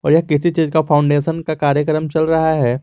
यह किसी चीज का फाउंडेशन का कार्यक्रम चल रहा है।